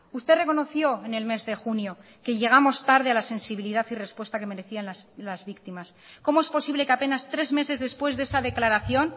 usted reconoció en el mes de junio que llegamos tarde a la sensibilidad y respuesta que merecían las víctimas cómo es posible que apenas tres meses después de esa declaración